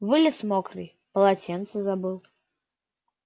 вылез мокрый полотенце забыл